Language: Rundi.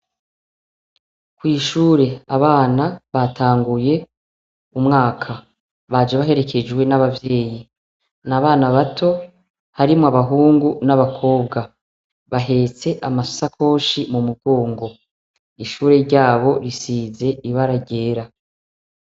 Kwishure abana batanguye umwaka baje baherekejwe n'abavyeyi n'abana bato harimwo abahungu n'abakobwa bahetse amasakoshi mu mugongo ishure ryabo risize ibara ryera.